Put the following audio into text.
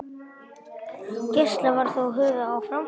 Gæsla var þó höfð áfram.